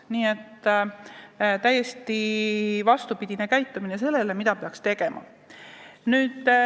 Nii et saavutatakse täiesti vastupidine käitumine sellele, mida peaks tegema.